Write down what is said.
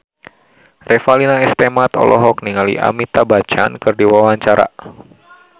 Revalina S. Temat olohok ningali Amitabh Bachchan keur diwawancara